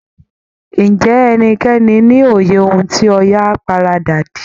Ǹjẹ́ ẹnikẹ́ni ní òye ohun tí Ọya paradà dì?